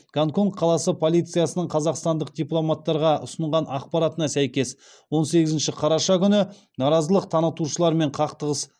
гонконг қаласы полициясының қазақстандық дипломаттарға ұсынған ақпаратына сәйкес он сегізінші қараша күні наразылық танытушылармен қақтығыс